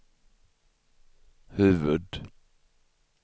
huvud-